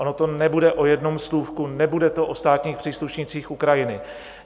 Ono to nebude o jednom slůvku, nebude to o státních příslušnících Ukrajiny.